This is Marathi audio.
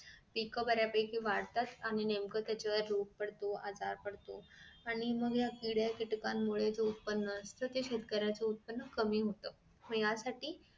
पीक बऱ्यापैकी वाढतात आणि नेमकं त्याच्यावर रोग पडतो आजार पडतो आणि मग ह्या किडकीटकांमुळे जो उत्पन्न असत ते शेतकऱ्याचं उत्पन्न कमी होत त्यासाठी